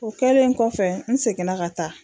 O kɛlen kɔfɛ n seginna ka taa